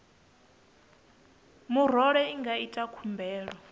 murole i nga ita khumbelo